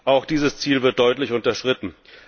Auch dieses Ziel wird deutlich unterschritten.